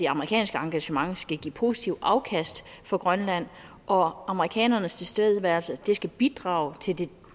amerikanske engagement skal give positivt afkast for grønland og amerikanernes tilstedeværelse skal bidrage til det